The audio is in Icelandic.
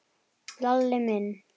Lalli minn?